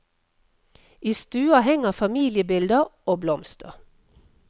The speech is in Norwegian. I stua henger familiebilder og blomster.